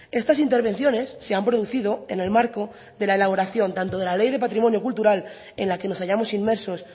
estas intervenciones se han producido en el marco de la elaboración tanto de la ley de patrimonio cultural en la que nos hayamos inmersos